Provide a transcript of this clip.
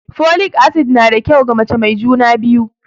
Folic acid na da kyau ga mace mai juna biyu